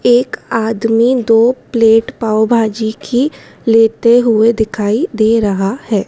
एक आदमी दो प्लेट पाव भाजी की लेते हुए दिखाई दे रहा है।